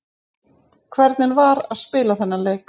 Hvernig var að spila þennan leik?